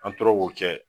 An tora k'o kɛ